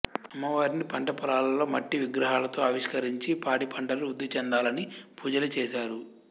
అమ్మవారిని పంటపొలాలలో మట్టి విగ్రహాలతో ఆవిష్కరించి పాడిపంటలు వృద్ధిచెందాలని పూజలుచేసారు